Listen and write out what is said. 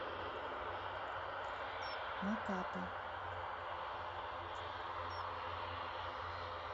макапа